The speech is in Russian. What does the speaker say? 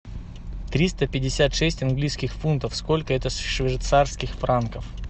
триста пятьдесят шесть английских фунтов сколько это швейцарских франков